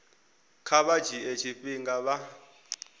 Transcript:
kha vha dzhie tshifhinga vha